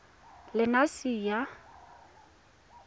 lenasia